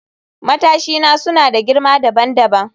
Matashina suna da girma dabam dabam